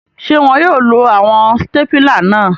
Ṣe wọn yóò lo awọn stapila náà?